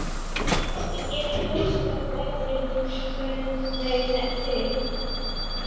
Ég get ekki hugsað mér betri lífsförunaut en þig.